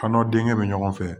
K'a n'o denkɛ bɛ ɲɔgɔn fɛ